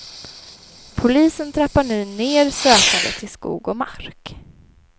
Polisen trappar nu ner sökandet i skog och mark.